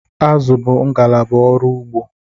Azụ bụ ngalaba ọrụ ugbo